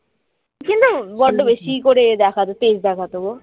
কিন্তু বড্ড বেশি ই করে এ দেখাত তেজ দেখাত গো